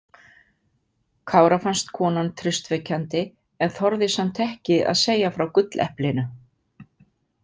Kára fannst konan traustvekjandi en þorði samt ekki að segja frá gulleplinu.